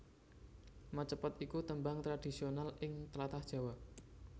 Macapat iku tembang tradhisional ing tlatah Jawa